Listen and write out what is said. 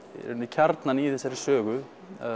kjarnann í þessari sögu